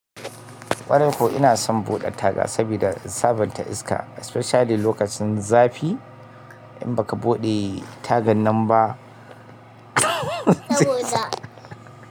Ƙwarai kuwa ko ina son buɗe taga, saboda in sabonta iska especially lokacin zafi in baka buɗe tagan nan ba.